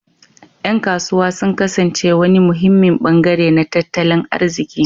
Yan kasuwa sun kasance wani muhimmin bangare na tattalin arziki